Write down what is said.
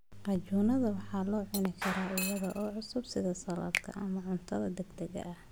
Qajuunada waxaa la cuni karaa iyada oo cusub sida saladh ama cunto degdeg ah.